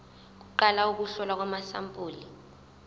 kuqala ukuhlolwa kwamasampuli